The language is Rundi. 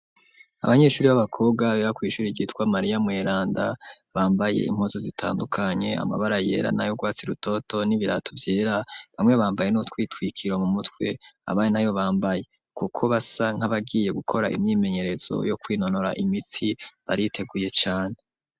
Abanyeshure b'abakobwa baba kw'ishure ryitwa Mariya Mweranda bambaye impuzu zitandukanye amabara yera nay'urwatsi rutoto n'ibirato vyera bamwe bambaye n'utwitwikiro mu mutwe abandi nabo bambaye kuko basa nkabagiye gukora imyimenyerezo yo kwinonora imitsi bariteguye cane.